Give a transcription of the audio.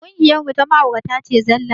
Ƙungiyar mu ta ma'aurata ce zallah